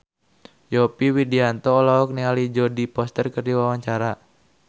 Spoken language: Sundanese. Yovie Widianto olohok ningali Jodie Foster keur diwawancara